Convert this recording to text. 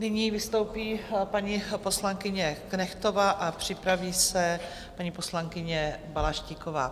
Nyní vystoupí paní poslankyně Knechtová a připraví se paní poslankyně Balaštíková.